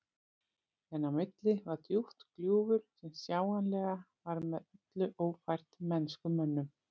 En á milli var djúpt gljúfur sem sjáanlega var með öllu ófært mennskum mönnum.